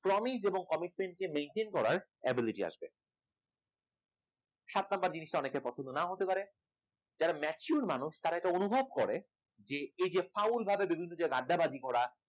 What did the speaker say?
promise এবং commitment maintain করার ability আসবে সাত number জিনিসটা অনেকের পছন্দ নাও হতে পারে যারা mature মানুষ তারা এটা অনুভব করে এই যে foul ভাবে business এ আড্ডাবাজি করা